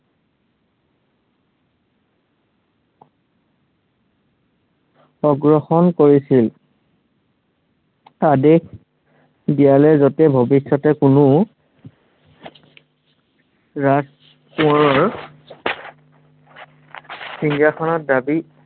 গ্ৰহণ কৰিছিল। আদেশ দিয়ালে, যাতে ভৱিষ্য়তে কোনো ৰাজ কোঁৱৰৰ সিংহাসনৰ দাবী